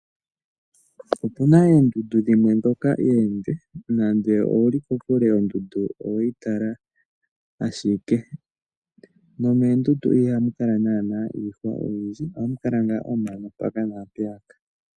Opu na oondundu dhimwe ndhoka oonde, nande owu li kokule ondundu oweyi tala ashike. Nomoondundu ohamu kala naana iihwa oyindji, ohamu kala ngaa omano mpaka naampeyaka.